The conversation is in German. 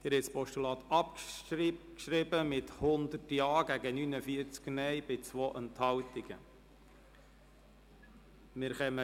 Sie haben das Postulat mit 100 Ja- gegen 49 Nein-Stimmen bei 2 Enthaltungen abgeschrieben.